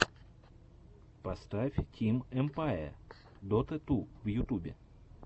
поставь тим эмпае дота ту в ютюбе